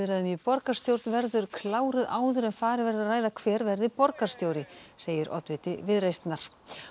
í borgarstjórn verður kláruð áður en farið verður að ræða hver verði borgarstjóri segir oddviti Viðreisnar